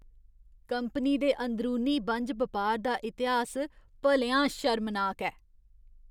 Company दे अंदरूनी बन्ज बपार दा इतिहास भलेआं शर्मनाक ऐ।